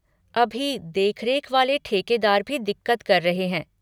अभी देखरेख वाले ठेकेदार भी दिक़्क़त कर रहे हैं।